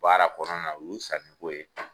Baara kɔnɔna na o ye sani ko ye.